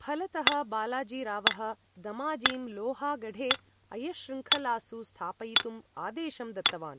फलतः, बालाजीरावः दमाजीं लोहागढे अयश्शृङ्खलासु स्थापयितुम् आदेशं दत्तवान्।